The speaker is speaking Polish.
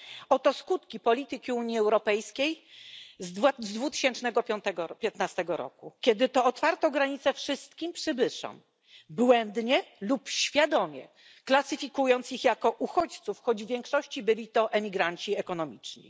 Oto skutki polityki Unii Europejskiej z 2015 roku, kiedy to otwarto granice wszystkim przybyszom, błędnie lub świadomie klasyfikując ich jako uchodźców, choć w większości byli to emigranci ekonomiczni.